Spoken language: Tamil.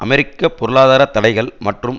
அமெரிக்க பொருளாதார தடைகள் மற்றும்